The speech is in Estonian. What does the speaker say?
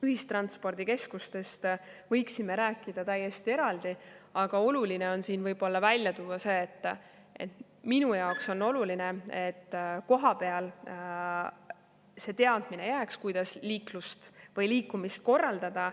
Ühistranspordikeskustest võiksime rääkida täiesti eraldi, aga oluline on siin välja tuua, et kohapeale jääks see teadmine, kuidas liikumist korraldada.